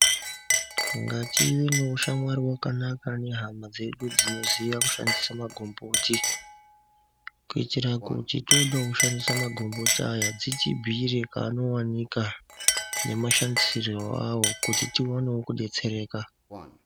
Negative nehushamwari wakanaka nehama dzedu dziboziva kushandisa mbuti kuitira kuti tinoona kushandisa magomboti awa dzitibhiire kwanoonekwa.